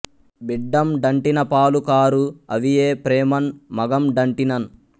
బిడ్డం డంటిన పాలు కారు అవియే ప్రేమన్ మగం డంటినన్